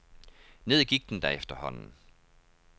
Ned gik den da efterhånden.